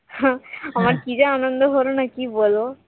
হম আমার কি যে আনন্দ হলো না যে কি বলবো